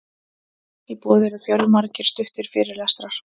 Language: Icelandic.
í boði eru fjölmargir stuttir fyrirlestrar